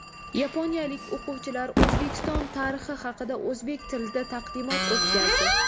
Yaponiyalik o‘quvchilar O‘zbekiston tarixi haqida o‘zbek tilida taqdimot o‘tkazdi.